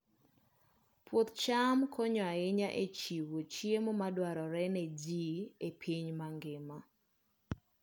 Puoth cham konyo ahinya e chiwo chiemo madwarore ne ji e piny mangima.